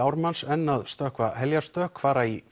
Ármanns enn að stökkva heljarstökk fara í